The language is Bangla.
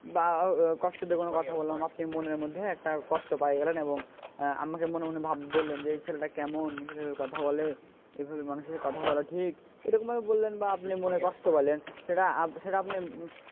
বা কষ্ট দিয়ে কোনও কথা বললাম আপনি মনের মধ্যে একটা কষ্ট পাইয়া গেলেন এবং আমাকে মনে মনে বললেন যে এই ছেলেটা কেমন যে এইভাবে কথা বলে এভাবে মানুষের সাথে কথা বলা ঠিক এরকম ভাবে বললেন বা আপনি মনে কষ্ট পাইলেন সেটা সেটা আপনি,